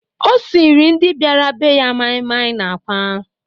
O siiri ndị bịara be ya maịmaị na àkwá.